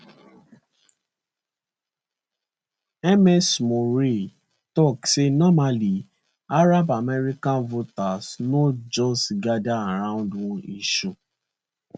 ms meroueh tok say normally arab american voters no just gada around one issue